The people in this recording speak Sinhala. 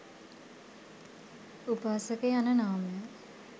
උපාසක යන නාමය